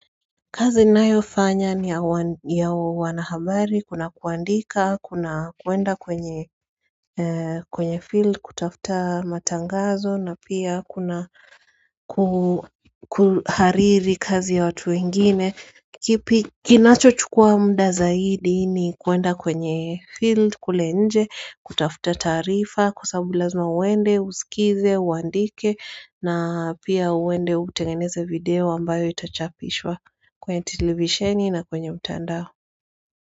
Kazi ninayofanya ni ya wanahabari kuna kuandika kuna kuenda kwenye kwenye field kutafuta matangazo na pia kuna kuhariri kazi ya watu wengine kipi kinacho chukua mda zaidi ni kuenda kwenye field kule nje kutafuta taarifa kwa sababu lazima uende usikize uandike na pia uende utengeneze video ambayo itachapishwa kwenye televisheni na kwenye mtandao.